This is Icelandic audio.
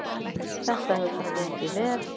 Þetta hefur bara gengið vel.